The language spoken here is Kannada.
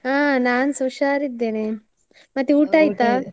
ಅಹ್ ನಾನ್ಸ ಹುಷಾರ್ ಇದ್ದೇನೆ, ಮತ್ತೆ .